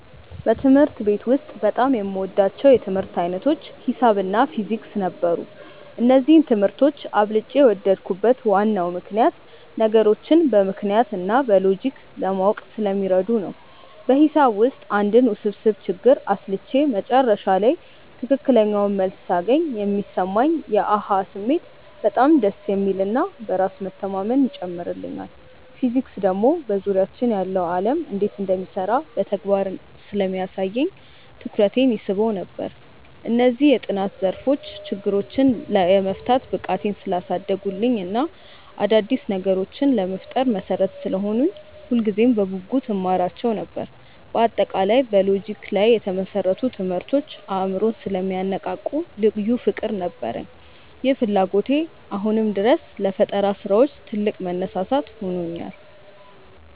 በትምህርት ቤት ውስጥ በጣም የምወዳቸው የትምህርት ዓይነቶች ሒሳብ እና ፊዚክስ ነበሩ። እነዚህን ትምህርቶች አብልጬ የወደድኩበት ዋናው ምክንያት ነገሮችን በምክንያት እና በሎጂክ ለማወቅ ስለሚረዱ ነው። በሒሳብ ውስጥ አንድን ውስብስብ ችግር አስልቼ መጨረሻ ላይ ትክክለኛውን መልስ ሳገኝ የሚሰማኝ የ "አሃ" ስሜት በጣም ደስ የሚል እና በራስ መተማመንን ይጨምርልኛል። ፊዚክስ ደግሞ በዙሪያችን ያለው ዓለም እንዴት እንደሚሰራ በተግባር ስለሚያሳየኝ ትኩረቴን ይስበው ነበር። እነዚህ የጥናት ዘርፎች ችግሮችን የመፍታት ብቃቴን ስላሳደጉልኝ እና አዳዲስ ነገሮችን ለመፍጠር መሠረት ስለሆኑኝ ሁልጊዜም በጉጉት እማራቸው ነበር። በአጠቃላይ በሎጂክ ላይ የተመሰረቱ ትምህርቶች አእምሮን ስለሚያነቃቁ ልዩ ፍቅር ነበረኝ። ይህ ፍላጎቴ አሁንም ድረስ ለፈጠራ ስራዎች ትልቅ መነሳሳት ሆኖኛል።